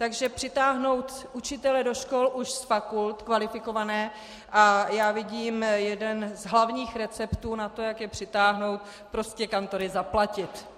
Takže přitáhnou učitele do škol už z fakult, kvalifikované, a já vidím jeden z hlavních receptů na to, jak je přitáhnout, prostě kantory zaplatit.